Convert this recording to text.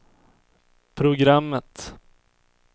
programmet